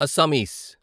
Assamese